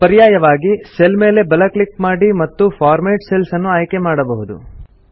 ಪರ್ಯಾಯವಾಗಿ ಸೆಲ್ ಮೇಲೆ ಬಲ ಕ್ಲಿಕ್ ಮಾಡಿ ಮತ್ತು ಫಾರ್ಮ್ಯಾಟ್ ಸೆಲ್ಸ್ ಅನ್ನು ಆಯ್ಕೆ ಮಾಡಬಹುದು